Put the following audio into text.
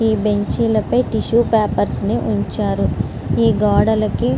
ఈ బెంచీల పైన టిష్యూ పేపర్స్ ని ఉంచారు. ఈ గోడలకి --